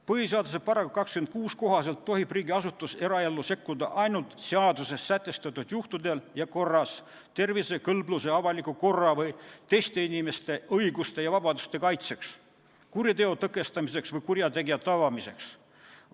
Põhiseaduse § 26 kohaselt tohib riigiasutus eraellu sekkuda ainult seaduses sätestatud juhtudel ja korras tervise, kõlbluse, avaliku korra või teiste inimeste õiguste ja vabaduste kaitseks, kuriteo tõkestamiseks või kurjategija tabamiseks.